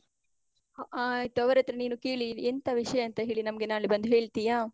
ಹ ಆ ಆಯ್ತು. ಅವ್ರ್ ಹತ್ರ ಕೇಳಿ ಎಂತ ವಿಷಯ ಅಂತ ಹೇಳಿ ನಮ್ಗೆ ನಾಳೆ ಬಂದು ಹೇಳ್ತಿಯಾ?